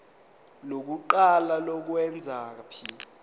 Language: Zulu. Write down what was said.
lokuqala lokwengeza p